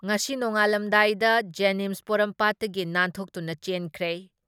ꯉꯁꯤ ꯅꯣꯡꯉꯥꯜꯂꯝꯗꯥꯏꯗ ꯖꯦꯅꯤꯝꯁ ꯄꯣꯔꯣꯝꯄꯥꯠꯇꯒꯤ ꯅꯥꯟꯊꯣꯛꯇꯨꯅ ꯆꯦꯟꯈ꯭ꯔꯦ ꯫